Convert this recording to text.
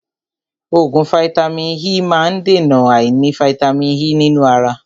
Oògùn vàìtamínií E má ń dèna àìní vàìtamínií E nínú ara.